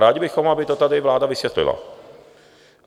Rádi bychom, aby to tady vláda vysvětlila.